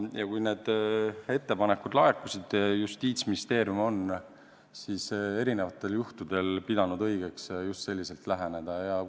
Ja kui need ettepanekud laekusid, siis Justiitsministeerium on pidanud erinevatel juhtudel õigeks just selliselt läheneda.